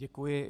Děkuji.